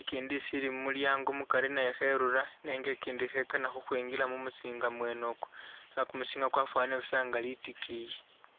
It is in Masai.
ikindi isiili mu mulyango mukari nayo kherura nenga ikindi khekana khukhwingila mumusinga mwene ukwo nenga kumusinga kwafwanile busa nga litikiyi.